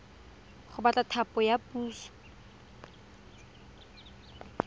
go batla thapo ya puso